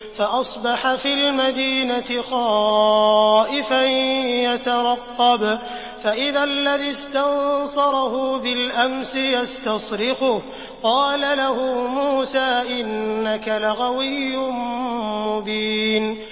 فَأَصْبَحَ فِي الْمَدِينَةِ خَائِفًا يَتَرَقَّبُ فَإِذَا الَّذِي اسْتَنصَرَهُ بِالْأَمْسِ يَسْتَصْرِخُهُ ۚ قَالَ لَهُ مُوسَىٰ إِنَّكَ لَغَوِيٌّ مُّبِينٌ